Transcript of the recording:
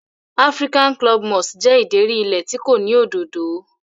African club moss jẹ́ ìdérí ilẹ̀ tí kò ní òdòdó.